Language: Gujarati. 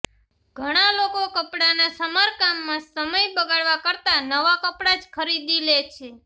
ઘણા લોકો કપડાંનાં સમારકામમાં સમય બગાડવા કરતાં નવા કપડાં જ ખરીદી લે છે